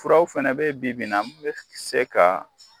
Furaw fana bɛ bi-bi in na bɛ se ka